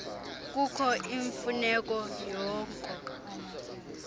kukho imfuneko yoko